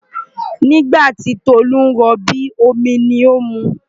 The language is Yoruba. Nígbà tí Tolu ń rọbí, omi ni ó ń mu.